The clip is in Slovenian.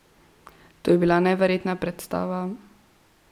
To je bila neverjetna predstava!